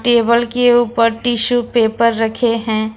Table के ऊपर tissue paper रखे हैं।